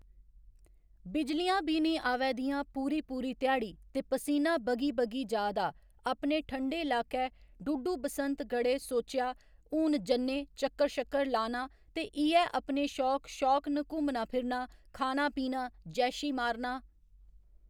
बिजलियां बी निं आवै दियां पूरी पूरी धयाड़ी ते पसीना बगी बगी जा दा अपने ठंडे लाकै डुडू बसंतगढ़े सोच्चेआ हून जन्ने चक्कर शक्कर लाना ते इ'यै अपने शौक शौक न घुम्मना फिरना खाना पीना जैशी मारना।